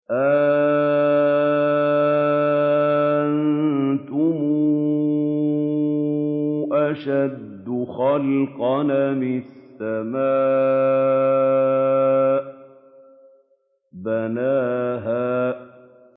أَأَنتُمْ أَشَدُّ خَلْقًا أَمِ السَّمَاءُ ۚ بَنَاهَا